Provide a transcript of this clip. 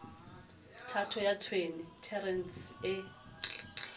thato ya tshwene terene e